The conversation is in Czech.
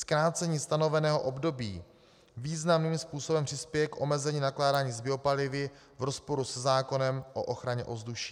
Zkrácení stanoveného období významným způsobem přispěje k omezení nakládání s biopalivy v rozporu se zákonem o ochraně ovzduší.